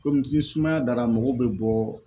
Kɔmi ki ni sumaya dara mɔgɔw be bɔ